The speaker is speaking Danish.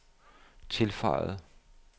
tilføjede